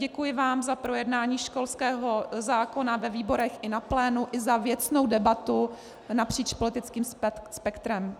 Děkuji vám za projednání školského zákona ve výborech i na plénu i za věcnou debatu napříč politickým spektrem.